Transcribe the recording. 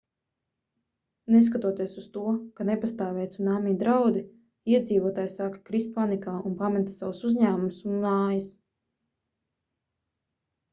neskatoties uz to ka nepastāvēja cunami draudi iedzīvotāji sāka krist panikā un pameta savus uzņēmumus un mājas